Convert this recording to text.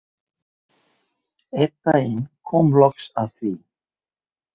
Einn daginn kom loks að því.